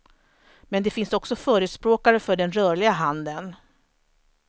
Men det finns också förespråkare för den rörliga handeln.